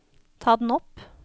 ta den opp